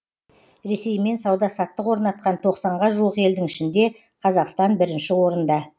ресеймен сауда саттық орнатқан тоқсанға жуық елдің ішінде қазақстан бірінші орында